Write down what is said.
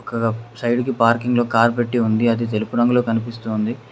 Side కి పార్కింగ్లో car పెట్టి ఉంది అది తెలుపు రంగులో కనిపిస్తుంది.